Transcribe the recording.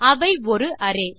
அவை ஒரு அரே